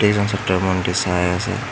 কেইজন ছাত্ৰ ইমানকে চাই আছে।